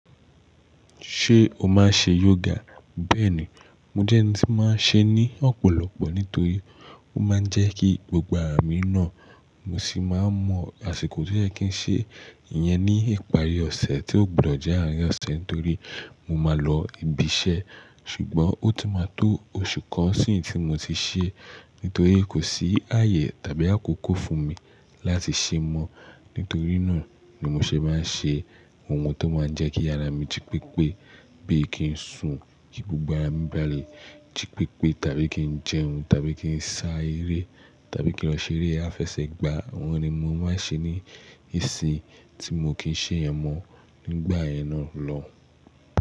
Ṣé o máa ń ṣe yoga? Bẹ́ẹ̀ni, mo jẹ́ ẹni tí máa ń ṣe ní ọ̀pọ̀lọpọ̀ nítorí ó máa ń jẹ́ kí gbogbo ara mi nà. Mo sì máa mọ àsìkò tó yẹ kí n ṣe ìyẹn ní ìparí ọ̀sẹ̀ tí ó gbọdọ̀ jẹ́ àárín ọ̀sẹ̀ nítorí mo máa lọ ibi iṣẹ́. Ṣùgbọ́n ó ti máa tó oṣù kan sin tí mo ti ṣe é, nítorí kò sí ààyè tàbí àkókò fún mi láti ṣe é mọ́. Nítorí náà ni mo ṣe máa ń ṣe ohun tó máa ń jẹ́ kí ara mi jí pépé bíi kí n sun kí gbogbo ara mi bá lè jí pépé tàbí kí n jẹun tàbí kí n sá eré tàbí kí n lọ ṣeré afẹsẹ̀gbà. Àwọn ni mo máa ń ṣe ní ìsìn tí mo kì í ṣe ten mọ́ nígbà yẹn náà lọ.